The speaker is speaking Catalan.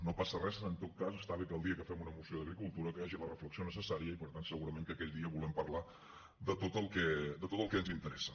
no passa res en tot cas està bé que el dia que fem una moció d’agricultura hi hagi la reflexió necessària i per tant segurament que aquell dia vulguem parlar de tot el que ens interessa